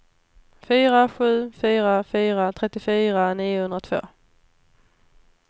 fyra sju fyra fyra trettiofyra niohundratvå